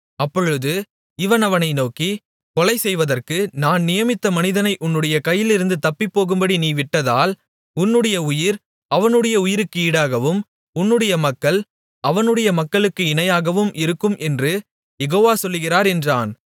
அப்பொழுது இவன் அவனை நோக்கி கொலைசெய்வதற்கு நான் நியமித்த மனிதனை உன்னுடைய கையிலிருந்து தப்பிப்போகும்படி நீ விட்டதால் உன்னுடைய உயிர் அவனுடைய உயிருக்கு ஈடாகவும் உன்னுடைய மக்கள் அவனுடைய மக்களுக்கு இணையாகவும் இருக்கும் என்று யெகோவா சொல்லுகிறார் என்றான்